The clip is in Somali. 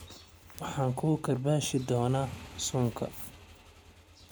Waxaan kugu karbaashi doonaa suunka.